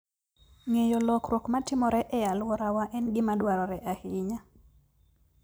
Ng'eyo lokruok matimore e alworawa en gima dwarore ahinya.